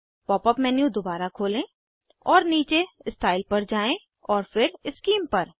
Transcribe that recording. pop up menu दोबारा खोलें और नीचे स्टाइल पर जाएँ फिर शीम पर